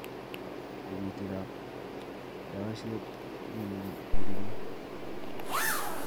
Kũgitĩra: ndawa cia kũniina mĩrimũ